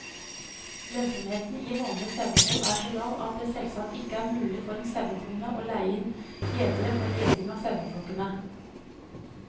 Lønnsomheten i vanlig sauehold er så lav at det selvsagt ikke er mulig for en sauebonde å leie inn gjetere for gjeting av saueflokkene.